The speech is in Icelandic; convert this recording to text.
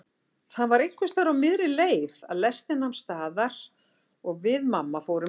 Það var einhversstaðar á miðri leið að lestin nam staðar og við mamma fórum út.